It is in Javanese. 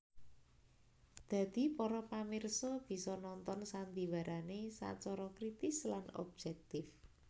Dadi para pamirsa bisa nonton sandiwarané sacara kritis lan objèktif